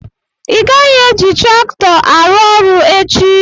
Ịgaghị eji traktọ arụ ọrụ echi!